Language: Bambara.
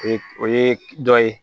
O ye dɔ ye